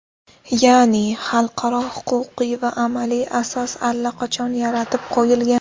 Ya’ni, xalqaro huquqiy va amaliy asos allaqachon yaratib qo‘yilgan.